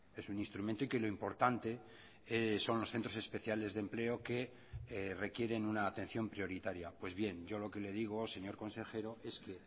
es un instrumento y que lo importante son los centros especiales de empleo que requieren una atención prioritaria pues bien yo lo que le digo señor consejero es que